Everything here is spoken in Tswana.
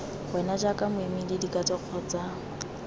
wena jaaka moemedi dikatso kgotsa